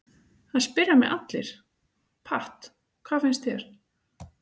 Það spyrja mig allir, Pat, hvað finnst þér?